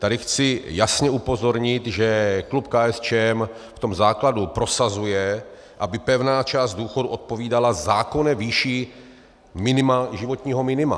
Tady chci jasně upozornit, že klub KSČM v tom základu prosazuje, aby pevná část důchodu odpovídala zákonné výši životního minima.